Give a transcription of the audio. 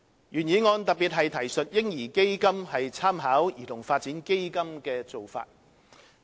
原議案特別提述"嬰兒基金"參考兒童發展基金的做法。